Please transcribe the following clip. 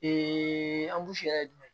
yɛrɛ ye jumɛn ye